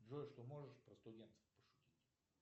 джой что можешь про студентов пошутить